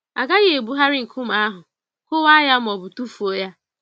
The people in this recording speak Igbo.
A gaghị ebugharị nkume ahụ, kụwaa ya ma ọ bụ tụfuo ya.